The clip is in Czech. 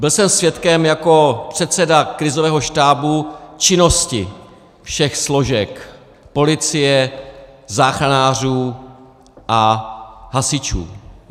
Byl jsem svědkem jako předseda krizového štábu činnosti všech složek - policie, záchranářů a hasičů.